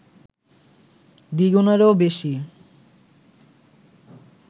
দ্বিগুণেরও বেশি